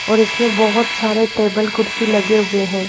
और इसमें बहुत सारे टेबल कुर्सी लगे हुए हैं।